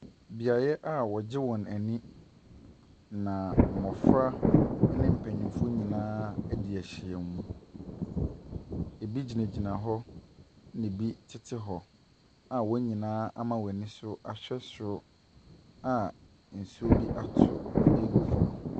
Beaeɛ a wɔgye wɔn ani na mmɔfra ɛne mpanyinfoɔ nyinaa ɛde ɛhyia mu. Ebi gyinagyina hɔ ɛna ebi ɛtete hɔ a wɔn nyinaa ama wɔn ani so ahwɛ soro a nsuo bi atɔ agu fam.